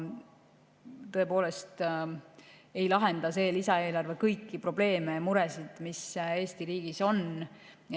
Tõepoolest ei lahenda see lisaeelarve kõiki probleeme ja muresid, mis Eesti riigis on.